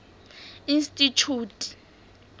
institjhute